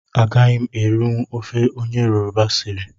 Agaghị m erinwu ofe onye yoroba siri